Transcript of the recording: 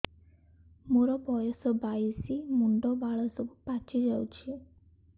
ମୋର ବୟସ ବାଇଶି ମୁଣ୍ଡ ବାଳ ସବୁ ପାଛି ଯାଉଛି